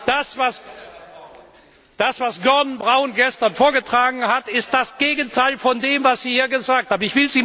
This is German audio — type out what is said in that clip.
Das, was Gordon Brown gestern vorgetragen hat, ist das Gegenteil von dem, was Sie hier gesagt haben.